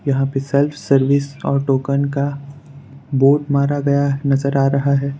यहां पे self service auto gun का बोर्ड मारा गया नजर आ रहा है।